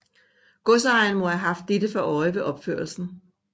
Godsejeren må have haft dette for øje ved opførelsen